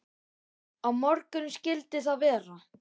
Á morgun skyldi það vera.